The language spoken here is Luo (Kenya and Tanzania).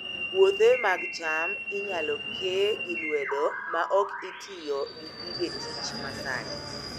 Puothe mag cham inyalo ke gi lwedo maok itiyo gi gige tich masani